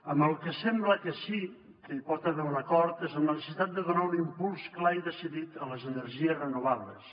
en el que sembla que sí que hi pot haver un acord és en la necessitat de donar un impuls clar i decidit a les energies renovables